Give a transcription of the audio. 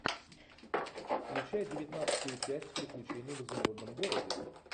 включай девятнадцатую часть приключения в изумрудном городе